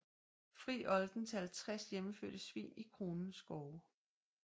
Fri olden til 50 hjemmefødte svin i kronens skove